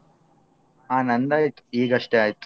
ಹ ನಂದಾಯ್ತು ಈಗಷ್ಟೇ ಆಯ್ತು.